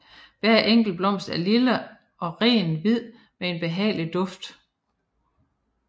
Hver enkelt blomst er lille og rent hvid med en behagelig duft